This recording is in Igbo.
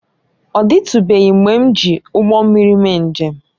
Ọ dịtụbeghị mgbe m ji ụgbọ mmiri mee njem